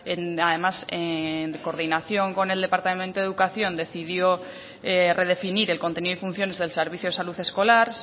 además en coordinación con el departamento de educación decidió redefinir el contenido y funciones del servicio de salud escolar